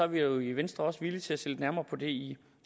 vi jo i venstre også villige til at se lidt nærmere på det i